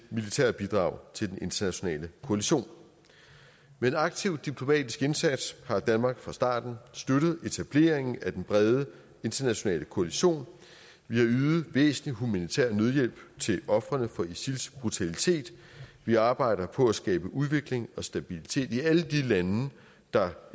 militært bidrag til den internationale koalition med en aktiv diplomatisk indsats har danmark fra starten støttet etableringen af den brede internationale koalition vi har ydet væsentlig humanitær nødhjælp til ofrene for isils brutalitet vi arbejder på at skabe udvikling og stabilitet i alle de lande der